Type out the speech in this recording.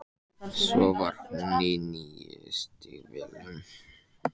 Svo var hún í nýju stígvélunum.